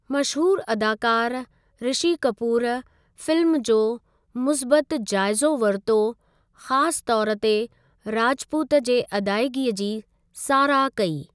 मशहूरु अदाकार रिषी कपूर फ़िल्म जो मुस्बतु जाइज़ो वरितो ख़ासि तौरु ते राजपूत जे अदायगीअ जी साराह कई।